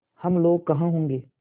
हम लोग कहाँ होंगे